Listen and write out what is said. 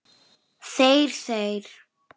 Þeir, þeir!